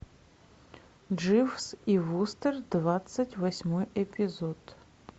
дживс и вустер двадцать восьмой эпизод